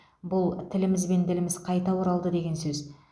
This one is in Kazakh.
бұл тіліміз бен діліміз қайта оралды деген сөз